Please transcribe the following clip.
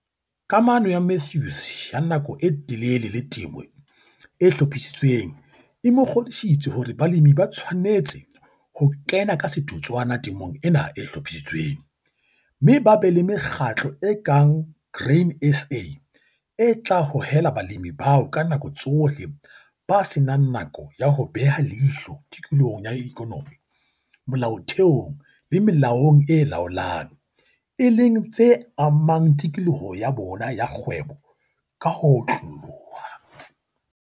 Kamano ya Mathews ya nako e telele le temo e hlophisitsweng e mo kgodisitse hore balemi ba tshwanetse ho kena ka setotswana temong ena e hlophisitsweng, mme ba be le mekgatlo e kang wa Grain SA e tla hohela balemi bao ka nako tsohle ba se nang nako ya ho beha leihlo tikolohong ya ikonomi, molaotheong le melaong e laolang - e leng tse amang tikoloho ya bona ya kgwebo ka ho otloloha.